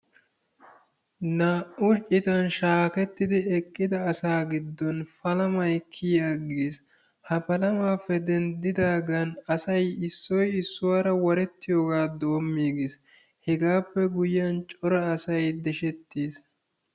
Naa"u citan shaakketidi eqqida asaa giddon palamay kiyi aggiis. Ha palamaappe denddidaagan asay issoy issuwaara warettiyoogaa doommiigiis. Hegaappe guyyiyaan cora asay deshshettis.